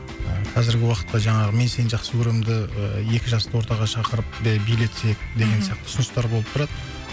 қазіргі уақытта жаңағы мен сені жақсы көремді екі жасты ортаға шақырып билетсек деген сияқты ұсыныстар болып тұрады